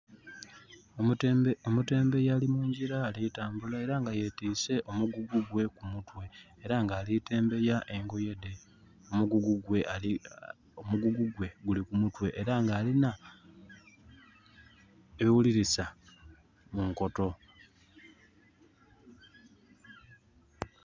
Omutembeeyi ali mungyira ali tambula era nga yetiise omugugu gwe ku mutwe. Era nga ali tembeeya engoye dhe. Omugugu gwe guli ku mutwe. Era nga alinha ebighulilisa mu nkoto.